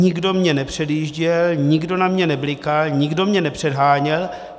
Nikdo mě nepředjížděl, nikdo na mě neblikal, nikdo mě nepředháněl.